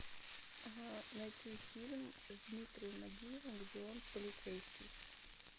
найти фильм с дмитрием нагиевым где он полицейский